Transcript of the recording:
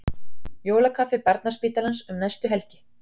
Jólakaffi Barnaspítalans um næstu helgi